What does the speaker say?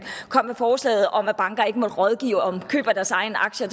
kom med forslaget om at banker ikke måtte rådgive om køb af deres egne aktier